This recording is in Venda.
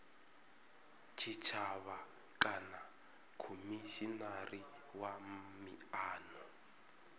tshitshavha kana khomishinari wa miano